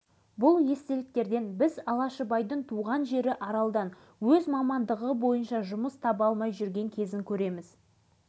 кейін естідік алашыбай балаларды төбелеске қатыгездікке баулып жүр деп әлдекімдер жоғары жаққа арыз жазған көрінеді